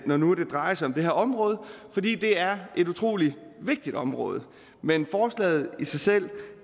når nu det drejer sig om det her område det er et utrolig vigtigt område men forslaget i sig selv